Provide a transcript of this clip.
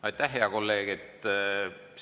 Aitäh, hea kolleeg!